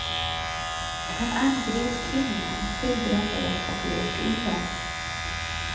Han angrep kvinnorna, skilde dem åt och låste in dem.